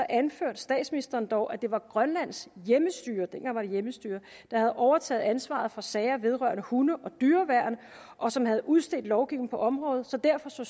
anførte statsministeren dog at det var grønlands hjemmestyre dengang var det hjemmestyre der havde overtaget ansvaret for sager vedrørende hunde og dyreværn og som havde udstedt lovgivningen på området så derfor så